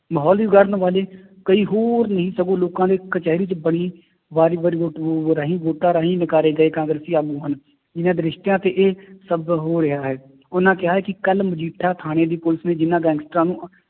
ਮਾਹੌਲ ਵੀ ਵਿਗਾੜਨ ਵਾਲੇ ਕਈ ਹੋਰ ਨੀ ਸਗੋਂ ਲੋਕਾਂ ਦੇ ਕਚਿਹਰੀ ਚ ਬਣੀ ਵੋਟਾਂ ਰਾਹੀ ਨਕਾਰੇ ਗਏ ਕਾਂਗਰਸੀ ਆਗੂ ਹਨ, ਜਿੰਨਾ ਦਿਸ਼ਟਾਂ ਤੇ ਇਹ ਸਭ ਹੋ ਰਿਹਾ ਹੈ ਉਹਨਾਂ ਕਿਹਾ ਹੈ ਕਿ ਕੱਲ੍ਹ ਮਜੀਠਾ ਥਾਣੇ ਦੀ ਪੁਲਿਸ ਨੇ ਜਿੰਨਾਂ ਗੈਂਗਸਟਰਾਂ ਨੂੰ